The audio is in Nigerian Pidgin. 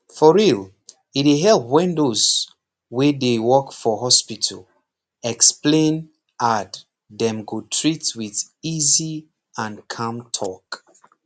for real e dey help when those wey dey work for hospital explain ad dem go treat with easy and calm talk